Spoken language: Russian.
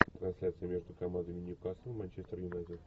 трансляция между командами ньюкасл манчестер юнайтед